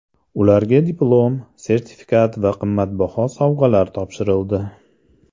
Ularga diplom, sertifikat va qimmatbaho sovg‘alar topshirildi.